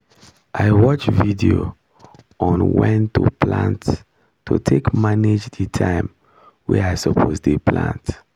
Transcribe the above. i watch video on when to plant to take manage the time wey i suppose dey plant